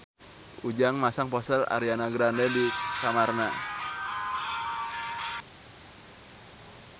Ujang masang poster Ariana Grande di kamarna